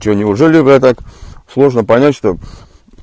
че неужели так сложно понять что